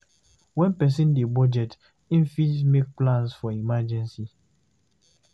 When person dey budget, im fit make plans for emergency